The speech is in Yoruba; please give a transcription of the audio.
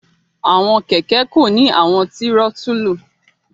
Awọn kẹkẹ ko ni awọn tirotulu